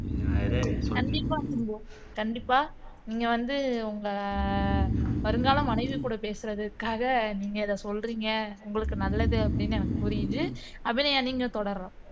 கண்டிப்பா சிம்பு கண்டிப்பா நீங்க வந்து உங்க வருங்கால மனைவிகூட பேசுறதுக்காக நீங்க இதை சொல்றீங்க உங்களுக்கு நல்லது அப்படின்னு எனக்கு புரியுது அபிநயா நீங்க தொடரலாம்